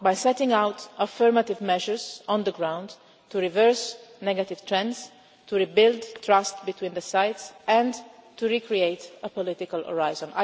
way. How? By setting out affirmative measures on the ground to reverse negative trends, to rebuild trust between the sides and to recreate a political